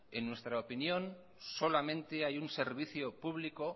en nuestra opinión solamente hay un servicio público